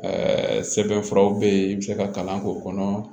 sɛbɛn furaw bɛ yen i bɛ se ka kalan k'o kɔnɔ